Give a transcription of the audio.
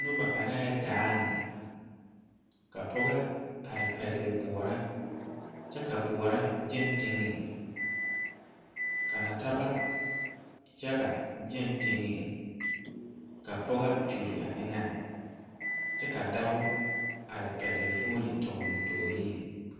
Noba are daa, ka pɔgɔ are pɛgele boɔraa kyɛ ka boɔra gaŋ teŋɛ ka nɔɔteɛ yaga gaŋ teŋɛ, ka pɔgɔ kyoli a eŋɛ kyɛ ka dao are pɛgele o fone o toreŋ.